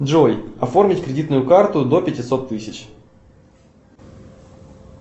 джой оформить кредитную карту до пятисот тысяч